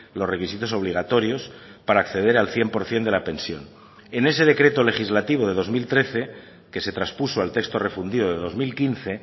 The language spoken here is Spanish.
los requisitos obligatorios para acceder al cien por ciento de la pensión en ese decreto legislativo de dos mil trece que se traspuso al texto refundido de dos mil quince